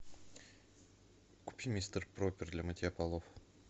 купи мистер пропер для мытья полов